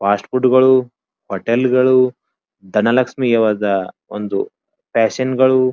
fast ಫುಡ್ಗಳು ಹೋಟೆಲ್ಗ ಳು ದನಲಕ್ಷೀಯವಾದ ಒಂದು ಫ್ಯಾಷನ್ಗ ಳು --